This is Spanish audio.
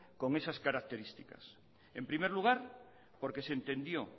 con esas características en primer lugar porque se entendió